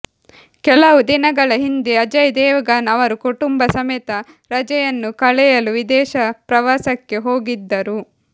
ಕೆಲವು ದಿನಗಳ ಹಿಂದೆ ಅಜಯ್ ದೇವಗನ್ ಅವರು ಕುಟುಂಬ ಸಮೇತ ರಜೆಯನ್ನು ಕಳೆಯಲು ವಿದೇಶ ಪ್ರವಾಸಕ್ಕೆ ಹೋಗಿದ್ದರು